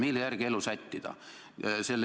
Mille järgi elu sättida?